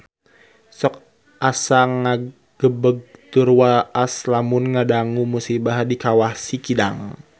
Sok asa ngagebeg tur waas lamun ngadangu musibah di Kawah Sikidang